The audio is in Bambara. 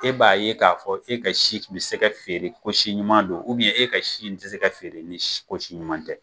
E b'a ye k'a fɔ e ka si kun bɛ se ka feere ko si ɲuman don , e ka si nin tɛ se ka feere nin ko si ɲuman tɛ.